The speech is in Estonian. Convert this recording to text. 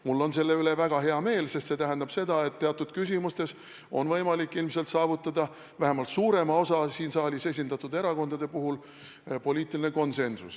Mul on selle üle väga hea meel, sest see tähendab seda, et teatud küsimustes on ilmselt võimalik saavutada vähemalt suurema osa siin saalis esindatud erakondade puhul poliitiline konsensus.